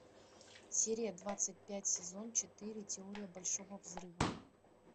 серия двадцать пять сезон четыре теория большого взрыва